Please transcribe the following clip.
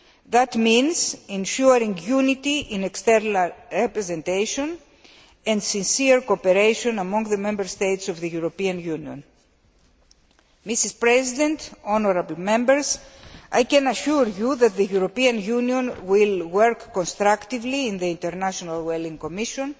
This means ensuring unity in external representation and sincere cooperation among the Member States of the European Union. Madam President, honourable Members, I can assure you that the European Union will work constructively in the International Whaling Commission